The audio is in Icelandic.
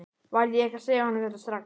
Varð ég ekki að segja honum þetta strax?